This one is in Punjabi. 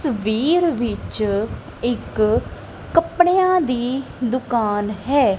ਸਵੀਰ ਵਿੱਚ ਇੱਕ ਕੱਪੜਿਆਂ ਦੀ ਦੁਕਾਨ ਹੈ।